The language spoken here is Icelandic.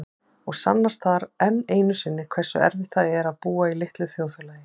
Og sannast þar enn einu sinni hversu erfitt það er að búa í litlu þjóðfélagi.